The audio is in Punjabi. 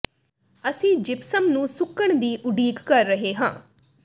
ਅਸੀਂ ਜਿਪਸਮ ਨੂੰ ਸੁੱਕਣ ਦੀ ਉਡੀਕ ਕਰ ਰਹੇ ਹਾਂ